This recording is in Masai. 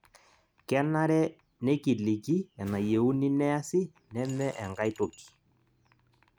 kenare nekiliki enayieuni niasi neme enkae toki